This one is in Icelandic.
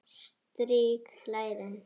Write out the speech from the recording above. Strýk lærin.